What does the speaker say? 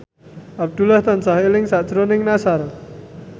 Abdullah tansah eling sakjroning Nassar